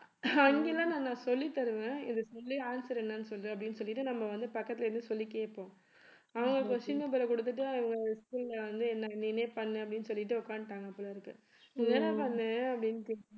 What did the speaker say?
அங்க எல்லாம் நான் சொல்லித்தருவேன் இதுக்கு முன்னாடி answer என்னன்னு சொல்லு அப்படின்னு சொல்லிட்டு நம்ம வந்து பக்கத்துல இருந்து சொல்லி கேட்போம் அவங்க question paper அ கொடுத்துட்டு அவங்க school ல வந்து என்னை நீனே பண்ணு அப்படின்னு சொல்லிட்டு உட்கார்ந்துட்டாங்க போல இருக்கு என்னடா பண்ண அப்பிடின்டு